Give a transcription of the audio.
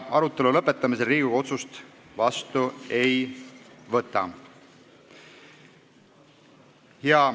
Arutelu lõpetamisel Riigikogu otsust vastu ei võta.